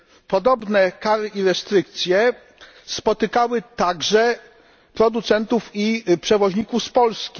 Podobne kary i restrykcje spotykały także producentów i przewoźników z Polski.